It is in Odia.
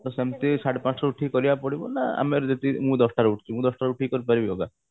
ସେମତି ସାଢେ ପାଞ୍ଚ ଟା ବେଳକୁ ଉଠିକି କରିବାକୁ ପଡିବ ନା ଆମେ ଯଦି ମୁଁ ଦଶ ଟାରେ ଉଠୁଛି ଦଶ ଟାରେ ଉଠିକି କରି ପାରିବି yoga